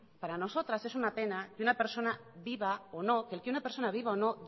para nosotras es una pena que el que una persona viva o no